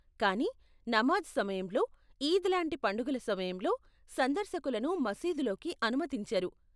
కానీ, నమాజ్ సమయంలో, ఈద్ లాంటి పండగల సమయంలో, సందర్శకులను మసీదులోకి అనుమతించరు .